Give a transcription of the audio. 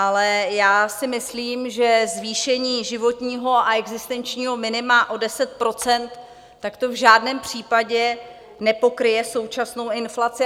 Ale já si myslím, že zvýšení životního a existenčního minima o 10 %, tak to v žádném případě nepokryje současnou inflaci.